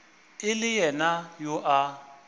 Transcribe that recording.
e le yena yo a